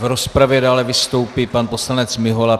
V rozpravě dále vystoupí pan poslanec Mihola.